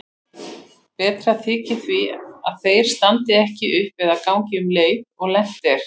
Betra þykir því að þeir standi ekki upp eða gangi um leið og lent er.